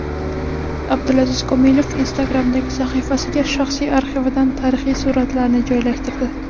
Abdulaziz Komilov Instagram’dagi sahifasiga shaxsiy arxividan tarixiy suratlarni joylashtirdi .